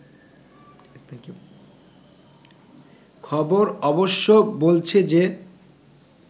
খবর অবশ্য বলছে যে